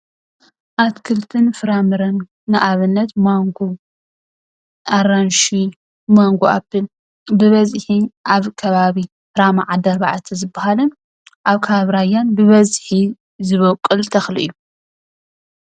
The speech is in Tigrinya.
ኣትክልትን ፍራምረን ንኣብነት፦ ማንጎ ፣ኣራንሺ፣ ማንጎ ኣፕል፣ ብበዝሒ ኣብ ከባቢ ራማ ኣዲ ኣርባዕተ ዝባሃልን ኣብ ከባቢ ራያን ብበዝሒ ዝበቁል ተክሊ እዩ።